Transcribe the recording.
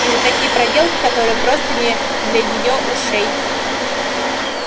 и на такие проделки которые просто не для её ушей